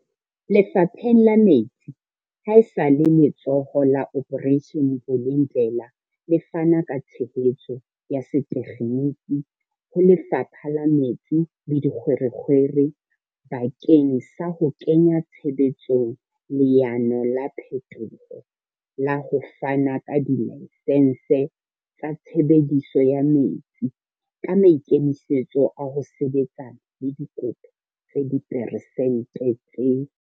Lefapheng la metsi, ha esale Letsholo la Operation Vulindlela le fana ka tshehetso ya setekgeniki ho Lefapha la Metsi le Dikgwerekgwere bakeng sa ho kenya tshebetsong leano la phetoho la ho fana ka dilaesense tsa tshebediso ya metsi, ka maikemisetso a ho sebetsana le dikopo tse diperesente tse.